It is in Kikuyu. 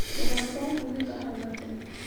Rũgano rwa kunĩka hau gatene